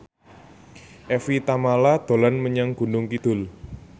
Evie Tamala dolan menyang Gunung Kidul